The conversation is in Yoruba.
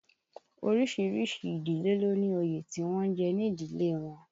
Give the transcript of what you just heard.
Orísìírísìí ìdílé ló ní òye tí wọ́n ń jẹ ní ìdílé wọn